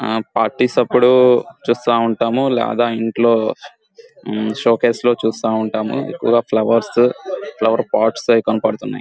ఆ పార్టీ సప్పుడు చూస్తూ ఉంటాము లాగా ఇంట్లో షో కేస్ లో చూస్తా ఉంటాము ఒక ఫ్లవర్స్ తో ఫ్లవర్ పోట్స్ ఏవో కనపడుతున్నాయి.